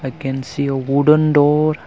i can see a wooden door.